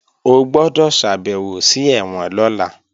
O gbọ́dọ̀ ṣàbèwò sí ẹ̀wọ̀n lọ́la!